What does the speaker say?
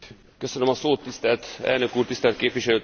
Tisztelt elnök úr, tisztelt képviselőtársaim!